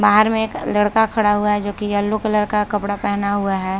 बाहर में एक लड़का खड़ा हुआ है जो की येलो कलर का कपड़ा पहना हुआ है।